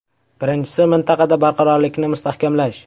Birinchisi, mintaqada barqarorlikni mustahkamlash.